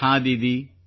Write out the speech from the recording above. ಹಾಂ ದೀದಿ